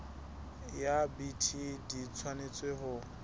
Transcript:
ya bt di tshwanetse ho